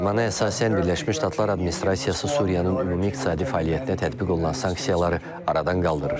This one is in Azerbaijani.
Fərmana əsasən Birləşmiş Ştatlar administrasiyası Suriyanın ümumi iqtisadi fəaliyyətinə tətbiq olunan sanksiyaları aradan qaldırır.